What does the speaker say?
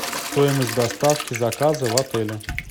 стоимость доставки заказа в отеле